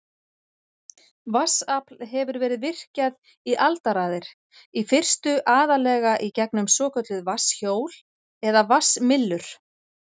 Vatnsafl hefur verið virkjað í aldaraðir, í fyrstu aðallega í gegnum svokölluð vatnshjól eða vatnsmyllur.